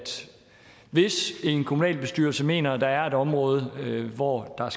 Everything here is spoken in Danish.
hvis en kommunalbestyrelse mener at der er et område hvor der